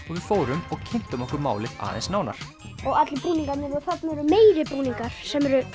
fórum og kynntum okkur málið aðeins nánar og allir búningarnir og þarna eru meiri búningar sem eru